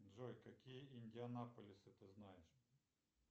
джой какие индианаполисы ты знаешь